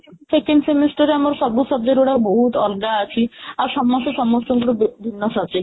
second semester ରେ ଆମର ସବୁ subject ଗୁଡା ବହୁତ ଅଲଗା ଅଛି ଆଉ ସମସ୍ତେ ସମସ୍ତଙ୍କୁ ଗୋଟେ ଭିନ୍ନ subject